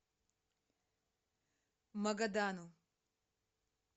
магадану